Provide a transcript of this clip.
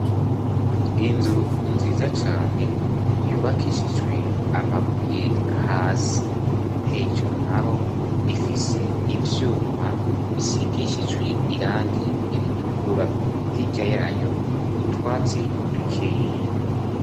Inzu nziza cane yubakishijwe amabuye hasi. Hejuru naho ifise ivyuma bisigishijwe irangi ritukura. Hirya yayo, utwatsi dukeya.